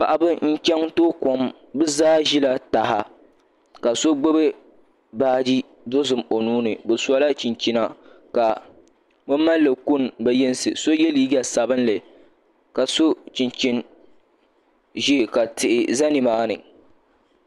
Paɣaba n chɛŋ tooi kom bi zaa ʒila taha ka so gbubi baaji dozim o nuuni bi sola chinchina ka bi mallli kuni bi yinsi so yɛ liiga sabinli ka so chinchij ʒiɛ ka tihi ʒɛ nimaani